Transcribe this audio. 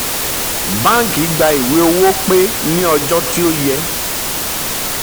báńkì gbà ìwé owó pé ní ọjọ́ tí ó yẹ